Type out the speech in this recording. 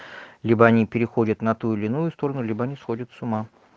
либо они переходят на ту или иную сторону либо они сходят с ума